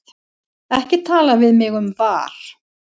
Ekki tala við mig um VAR.